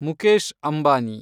Mukesh Ambani